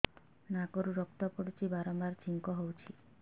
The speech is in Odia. ନାକରୁ ରକ୍ତ ପଡୁଛି ବାରମ୍ବାର ଛିଙ୍କ ହଉଚି